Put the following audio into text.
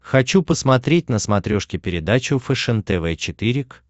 хочу посмотреть на смотрешке передачу фэшен тв четыре к